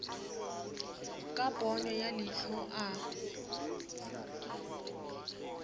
ka ponyo ya leihlo a